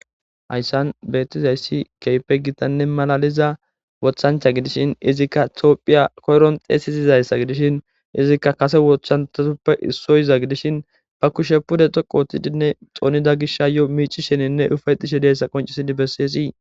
Hayssan beettizayssi keype gitanne malaliza wothancha gidishin izikka tioohphiya koyron xeesizizayssa gidishin izikka kase wochanthatuppe issoyiza gidishin ba kushe pude toqo otidinne xoonida gishayo miici sheninne ufayxishe deessa qoncisidi besseesii